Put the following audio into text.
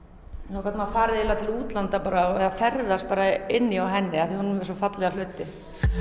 þá gat maður farið eiginlega til útlanda og ferðast bara inni hjá henni af því að hún var með svo fallega hluti